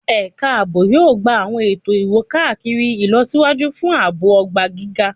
Ẹka aabo yoo gba awọn eto iwo-kakiri ilọsiwaju fun aabo ogba giga